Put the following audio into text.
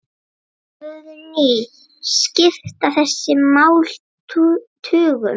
Guðný: Skipta þessi mál tugum?